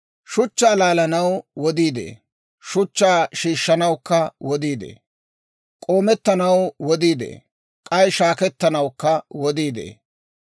Shuchchaa laalanaw wodii de'ee; shuchchaa shiishshanawukka wodii de'ee. K'oomettanaw wodii de'ee; k'ay shaakkettanawukka wodii de'ee.